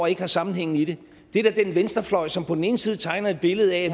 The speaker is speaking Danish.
ikke har sammenhæng i det det er da den venstrefløj som på den ene side tegner et billede af at